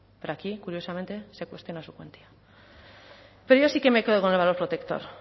pero aquí curiosamente se cuestiona su cuantía pero yo sí que me quedo con el valor protector